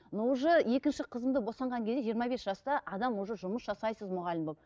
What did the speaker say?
но уже екінші қызымды босанған кезде жиырма бес жаста адам уже жұмыс жасайсыз мұғалім болып